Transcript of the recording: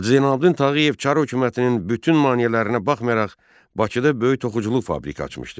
Hacı Zeynallabdin Tağıyev Çar hökumətinin bütün maneələrinə baxmayaraq, Bakıda böyük toxuculuq fabriki açmışdı.